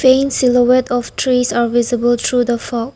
Being silhouette of trees are visible through the fog.